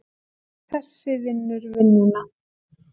Þessi vinnur vinnuna!